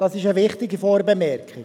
Das ist eine wichtige Vorbemerkung.